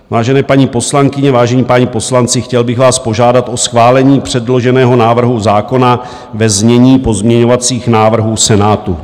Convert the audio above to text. Vážené paní poslankyně, vážení páni poslanci, chtěl bych vás požádat o schválení předloženého návrhu zákona ve znění pozměňovacích návrhů Senátu.